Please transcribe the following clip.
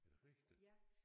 Er det rigtigt?